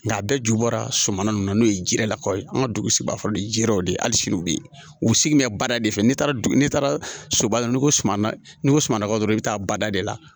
Nga a bɛɛ ju bɔra suman ninnu na n'o ye ji yɛrɛ lakɔ ye an ka dugu sigibagaw ye ji wɛrɛw de hali sini u bɛ yen u sigi mɛ bada de fɛ ni taara n'i taara soba la n'i ko suman n'i ko sumana dɔrɔn i bɛ taa bada de la